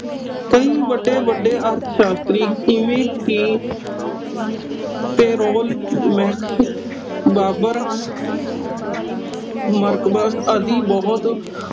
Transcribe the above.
ਕਈ ਵੱਡੇ ਵੱਡੇ ਅਰਥ ਸ਼ਾਸਤਰੀ ਜਿਵੇਂ ਕਿ payroll max ਬਾਬਰ ਮਾਰਕਬਸ ਆਦਿ ਬੁਹਤ